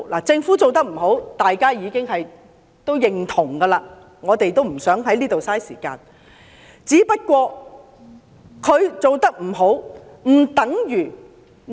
政府做得不好，是大家也已認同的，我們不想再浪費時間談論這些。